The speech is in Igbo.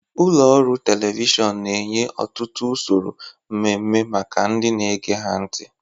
Ụlọ ọrụ telivishọn na-enye ọtụtụ usoro mmemme maka ndị na-ege ha ntị.